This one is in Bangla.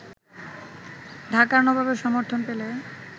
ঢাকার নবাবের সমর্থন পেলে